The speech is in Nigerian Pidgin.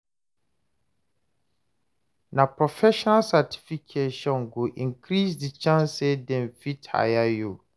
Na professional certification go increase the chance say dem fit hire you.